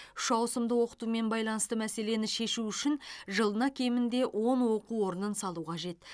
үш ауысымды оқытумен байланысты мәселені шешу үшін жылына кемінде он оқу орнын салу қажет